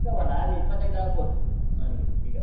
ಚಿಕ್ಕವ ಅಲ್ಲ ಹಾಗೆ ಇಪ್ಪತೈದು ಆಗಬೋದು ಅವನಿಗೆ ಈಗ.